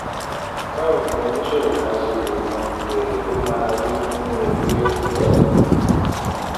báwo ni oníṣòwò kan ṣe lè mọ èrè tó máa rí nínú irú ètò bẹ́ẹ̀?